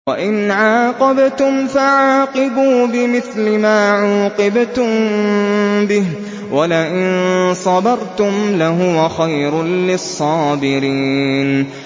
وَإِنْ عَاقَبْتُمْ فَعَاقِبُوا بِمِثْلِ مَا عُوقِبْتُم بِهِ ۖ وَلَئِن صَبَرْتُمْ لَهُوَ خَيْرٌ لِّلصَّابِرِينَ